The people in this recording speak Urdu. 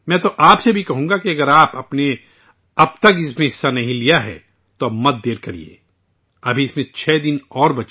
میں آپ سے یہ بھی کہوں گا کہ اگر آپ نے ابھی تک اس میں حصہ نہیں لیا ہے تو ابھی تاخیر نہ کریں، اس میں ابھی چھ دن باقی ہیں